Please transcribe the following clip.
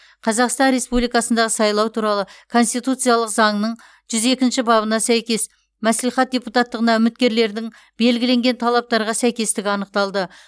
қазақстан республикасындағы сайлау туралы конституциялық заңның жүз екінші бабына сәйкес мәслихат депутаттығына үміткерлердің белгіленген талаптарға сәйкестігі анықталды